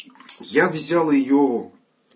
я взял её